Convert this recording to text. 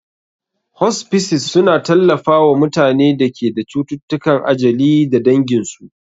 Hospices suna tallafawa mutanen da ke da cututtukan ajali da danginsu.